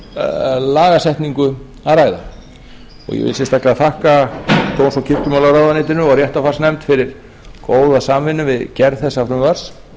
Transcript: að ræða ég vil sérstaklega þakka dóms og kirkjumálaráðuneytinu og réttarfarsnefnd fyrir góða samvinnu við gerð þessa frumvarps